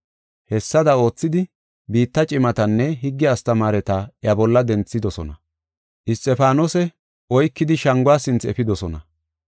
Hessada oothidi biitta cimatanne higge astamaareta iya bolla denthidosona. Isxifaanose oykidi shanguwa sinthe efidosona.